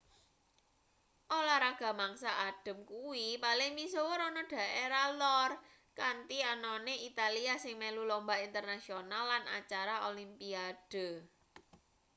olahraga mangsa adhem kuwi paling misuwur ana daerah lor kanthi anane italia sing melu lumba internasional lan acara olimpiade